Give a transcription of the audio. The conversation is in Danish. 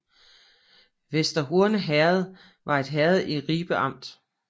Vester Horne Herred var et herred i Ribe Amt